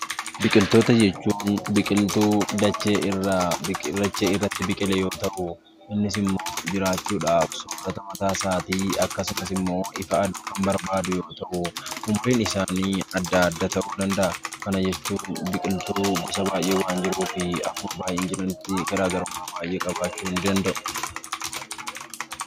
Biqiltoota jechuun biqiltuu dachee irratti biqile yoo ta'u, innis immoo jiraachuudhaaf soorata mataa isaatii akkasumas immoo ifa aduu kan barbaadu yoo ta'u, umriin isaanii addaa adda ta'uu ni danda'a. Kana jechuun biqiltuu gosa baay'ee waan jiruu fi akkuma baay'ina isaanii jiranitti garaa garummaa baay'ee qabaachuu ni danda'u.